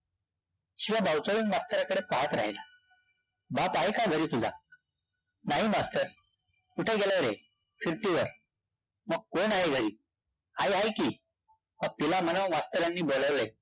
शिवा बावचळून मास्तरांकडे पाहत राहिला. बाप आहे का घरी तुझा? नाही मास्तर. कुठे गेला रे? फिरतीवर. मग कोण आहे घरी? आई हाये कि. मग तिला म्हणावं मास्तरांनी बोलावलंय.